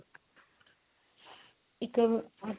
ਇੱਕ ਆ